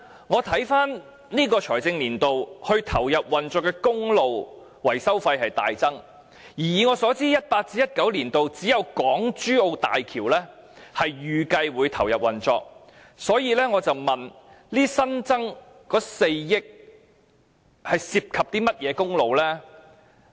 我看回今個財政年度，路政署投入運作的公路維修費大增，而以我所知 ，2018-2019 年度只有港珠澳大橋預計會投入運作，所以，我詢問這新增的4億元涉及甚麼公路？